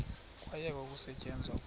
kwayekwa ukusetyenzwa kwa